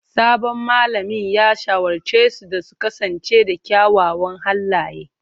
Sabon malamin ya shawarce su da su kasance da kyawawan halaye.